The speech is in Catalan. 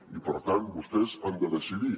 i per tant vostès han de decidir